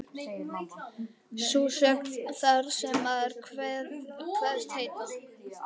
Sú sögn, þar sem maður kveðst heita